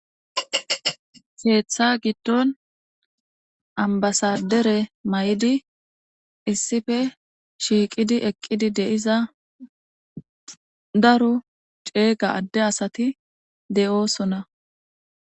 Ketha giidon abasadere mayidi issipe shiqidi eqidi deiza daro cega ade asati de'osona